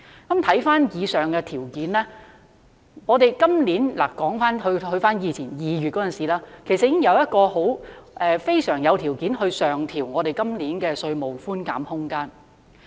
看回上述條件，我們今年——說回2月期間——其實我們已十分具備條件上調今年的稅務寬減空間。